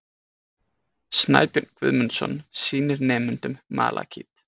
Snæbjörn Guðmundsson sýnir nemendum malakít.